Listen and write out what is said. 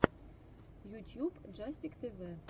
ютьюб джастик тэвэ